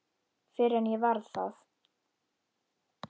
Fyrr en ég varð það.